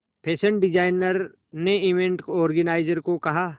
fashion designer ने event organiser को कहा